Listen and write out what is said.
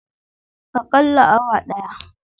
Akalla awa daya.